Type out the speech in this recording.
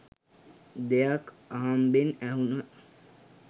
දෙයක් අහම්බෙන් ඇහුන